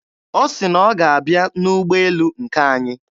Ọ sị na ọ ga-abịa n'ụgbọelu nke anyị.